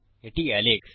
এটি আলেক্স